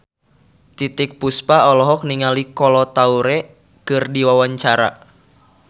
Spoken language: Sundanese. Titiek Puspa olohok ningali Kolo Taure keur diwawancara